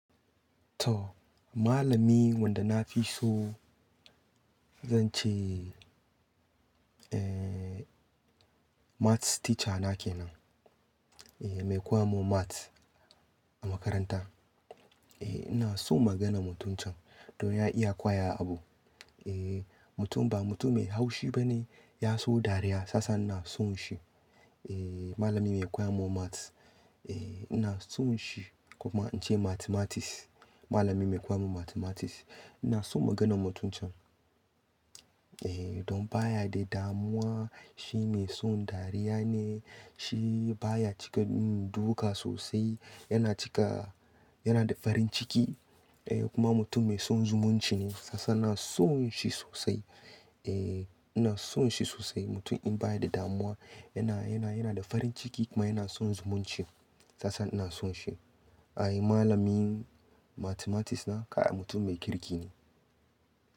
To, malami wanda na fi so zan ce, eh, Maths teacher na kenan, Eh, mai koya mun Maths a makaranta. Eh, ina son maganan mutum can don ya iya kwaya abu. Eh, mutum ba mutum mai haushi bane, ya so dariya sasa ina son shi. Eh, malami mai koya mun Maths. Eh, ina son shi, koma in ce Mathematics, malami mai koya mun Mathematics. Ina son maganan mutum can. Eh, don baya da damuwa, shi mai son dariya ne, shi baya cika, mm, duka sosai, yana cika, yana da farin ciki, eh, kuma mutum mai son zumunci ne, sasa ina son shi sosai. Eh, ina son shi sosai mutum in baya da damuwa, yana, yana, yana da farin ciki kuma yana son zumunci, sasa ina son shi. Ai malamin Mathematics na, kai mutum mai kirki ne.